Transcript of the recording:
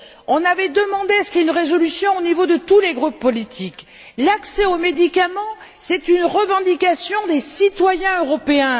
On avait demandé une résolution au niveau de tous les groupes politiques. L'accès aux médicaments est une revendication des citoyens européens.